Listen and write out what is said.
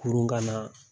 Kurun ka na